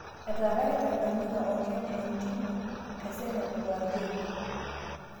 Etaaraki tanganyika o Kenya inttimi e Senegal o Algeria